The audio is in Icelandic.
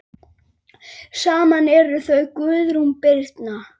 Saman eru þau Guðrún Birna.